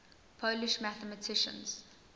polish mathematicians